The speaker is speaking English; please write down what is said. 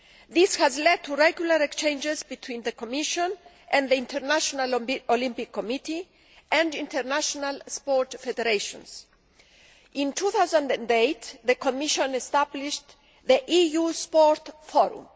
This has led to regular exchanges between the Commission and the International Olympic Committee and international sports federations. In 2008, the Commission established the EU Sport Forum.